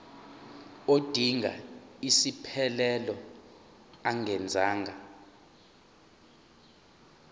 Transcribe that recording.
odinga isiphesphelo angenza